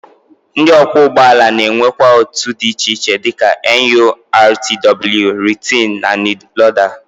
Ndị ọkwọụgbọala na-enwekwa otu dị iche iche dịka NURTW, RTEAN, NILODA